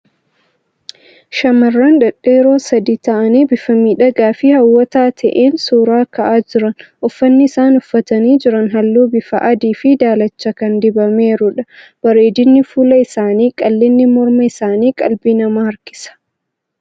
Shamarran dhedheeroo sadii ta'anii bifa miidhagaa fi hawwataa ta'een suuraa ka'aa jiran. Uffanni isaan uffatanii jiran halluu bifa adii fi daalacha kan dibameerudha. Bareedinni fuula isaanii fi qal'inni morma isaanii qalbii namaa harkisa.